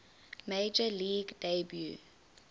major league debut